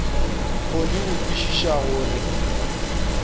kgone go kwešiša go re